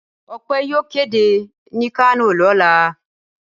Ọpẹ́ yóò kéde ní Kano lọ́la.